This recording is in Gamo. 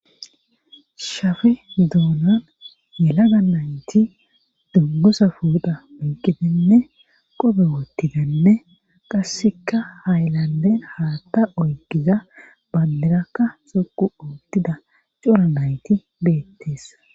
shafe doonan yelaga nayti dunguza pooxa oyqqidinne qobe wottidinne qassika haylanden haatta oyqqida banddirakka dhoqqu oottida cora nayti beettes.